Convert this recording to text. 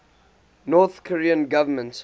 north korean government